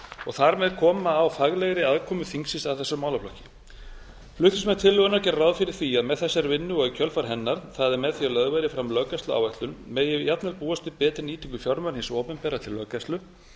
og þar með koma á faglegri aðkomu þingsins að þessum málaflokki flutningsmenn tillögunnar gera ráð fyrir því að með þessari vinnu og í kjölfar hennar það er með því að lögð verði fram löggæsluáætlun megi jafnvel búast við betri nýtingu fjármuna hins opinbera til löggæslu